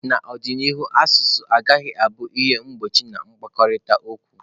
N'ọdịnihu asụsụ agaghị abụ ihe mgbochi na nkwurịta okwu.